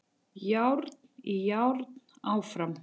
Járn í járn áfram